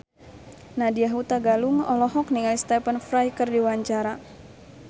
Nadya Hutagalung olohok ningali Stephen Fry keur diwawancara